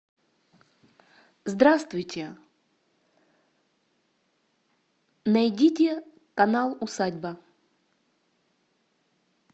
здравствуйте найдите канал усадьба